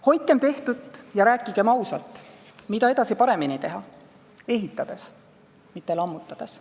Hoidkem tehtut ja rääkigem ausalt, mida edaspidi paremini teha – ehitades, mitte lammutades.